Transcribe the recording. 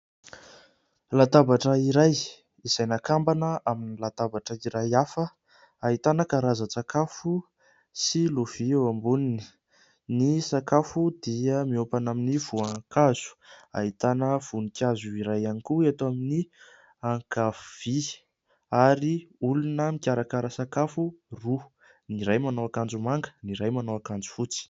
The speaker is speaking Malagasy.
Latabatra iray izay nakambana amin'ny latabatra iray hafa, ahitana karazan-tsakafo sy lovia eo amboniny, ny sakafo dia miompana amin'ny voankazo ahitana voninkazo iray ihany koa eto amin'ny ankavia ary olona mikarakara sakafo roa : ny iray manao akanjo manga, ny iray manao akanjo fotsy.